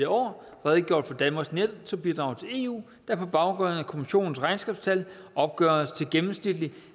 år redegjort for danmarks nettobidrag til eu der på baggrund af kommissionens regnskabstal opgøres til gennemsnitligt